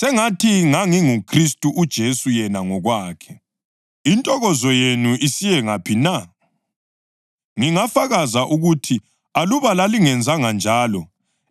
Intokozo yenu yonke isiyengaphi na? Ngingafakaza ukuthi aluba lalingenzanjalo, lalingakopola amehlo enu linginike wona.